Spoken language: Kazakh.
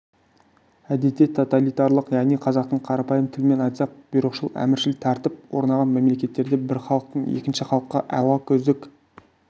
әдетте тоталитарлық яғни қазақтың қарапайым тілімен айтсақ бұйрықшыл-әміршіл тәртіп орнаған мемлекеттерде бір халықтың екінші халыққа алакөздік